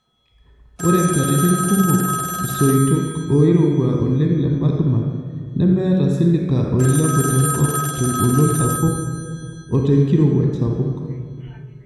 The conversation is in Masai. Ore nkatitn kumok, soitok oirua oleng le magma lemeeta silica oilepu tenkop tengolon sapuk otenkirowuaj sapuk.